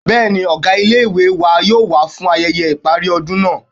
Bẹ́ẹ̀ni, ọgá ilé-ìwé wa yóò wá fún ayẹyẹ ìparí ọdún náà